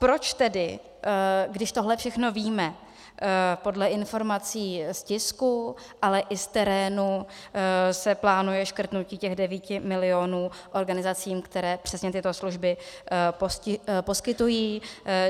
Proč tedy, když tohle všechno víme, podle informací z tisku, ale i z terénu se plánuje škrtnutí těch 9 milionů organizacím, které přesně tyto služby poskytují?